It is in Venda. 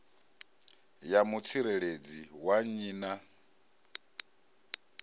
ya mutsireledzi wa nnyi na